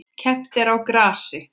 Keppt er á grasi.